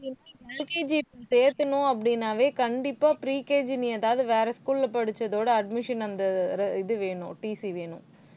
LKG சேத்தணும் அப்படின்னாவே கண்டிப்பா pre KG இனி ஏதாவது வேற school ல படிச்சதோட admission அந்த இது வேணும். TC வேணும்